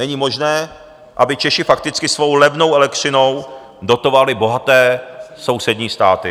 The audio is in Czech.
Není možné, aby Češi fakticky svou levnou elektřinou dotovali bohaté sousední státy.